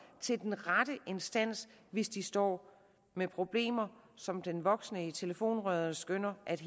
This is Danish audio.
til den rette instans hvis de står med problemer som den voksne i telefonrøret skønner at